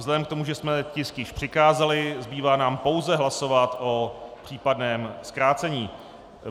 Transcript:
Vzhledem k tomu, že jsme tisk již přikázali, zbývá nám pouze hlasovat o případném zkrácení.